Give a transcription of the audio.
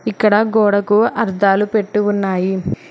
ఇక్కడ గోడకు అర్ధాలు పెట్టి ఉన్నాయి.